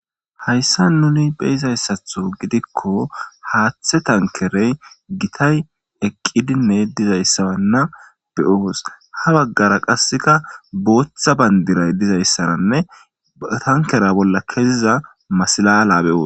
Hayssa nuni beyizayssatho gidikko haaththe tankerey gitay eqqidinne dizayssabanna beyoos ha baggara qasseka booththa bandiray dizayssaranne tankera bolla keziza masilala be7os